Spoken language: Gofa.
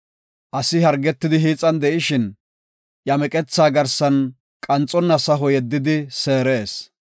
Asi hargetidi hiixan de7ishin, iya meqethaa garsan qanxonna saho yeddidi seerees.